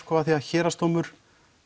af því að Héraðsdómur